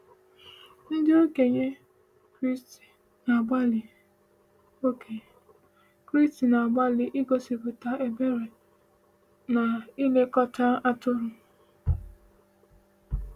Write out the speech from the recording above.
Ndị okenye Kraịst na-agbalị okenye Kraịst na-agbalị igosipụta ebere n’ịlekọta atụrụ.